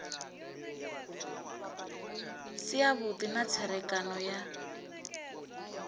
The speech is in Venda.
si avhudi na tserekano ya